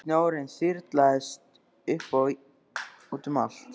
Snjórinn þyrlaðist upp og út um allt.